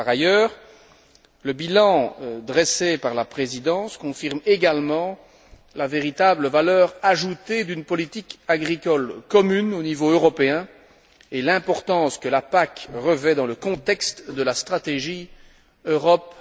Par ailleurs, le bilan dressé par la Présidence confirme également la véritable valeur ajoutée d'une politique agricole commune au niveau européen et l'importance que la PAC revêt dans le contexte de la stratégie Europe